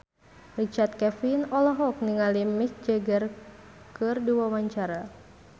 Richard Kevin olohok ningali Mick Jagger keur diwawancara